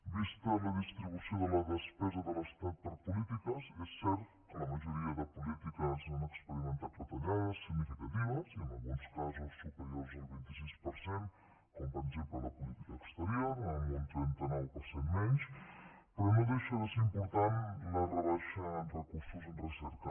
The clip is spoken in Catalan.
vista la distribució de la despesa de l’estat per polítiques és cert que la majoria de polítiques han experimentat retallades significatives i en alguns casos superiors al vint sis per cent com per exemple la política exterior amb un trenta nou per cent menys però no deixa de ser important la rebaixa en recursos en recerca